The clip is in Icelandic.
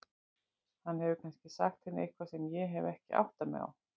Hann hefur kannski sagt henni eitthvað sem ég hef ekki áttað mig á.